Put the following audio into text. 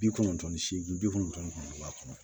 Bi kɔnɔntɔn ni seegin bi kɔnɔntɔn kɔnɔ